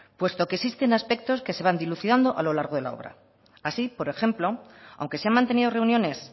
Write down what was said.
puesto que existen aspectos que se van dilucidando a lo largo de la obra así por ejemplo aunque se han mantenido reuniones